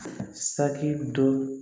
Saki dɔ